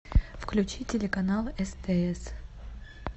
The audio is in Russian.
включи телеканал стс